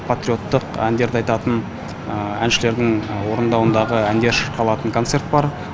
патриоттық әндерді айтатын әншілердің орындауындағы әндер шырқалатын концерт бар